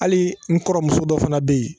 Hali n kɔrɔmuso dɔ fana bɛ yen